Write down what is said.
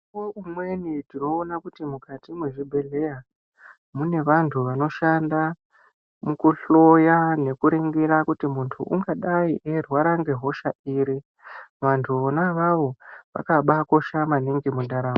Mikuvo umweni tinoona kuti mukati mwezvibhedhleya, mune vantu vanoshanda mukuhloya nekuringira kuti muntu ungadai eirwara ngehosha iri. Vantu vona avavo vakabakosha maningi mundaramo.